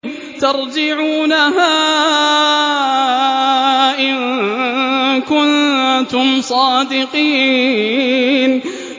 تَرْجِعُونَهَا إِن كُنتُمْ صَادِقِينَ